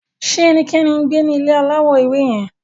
Ṣe ẹnikẹni ngbe ni ile alawọ ewe yẹn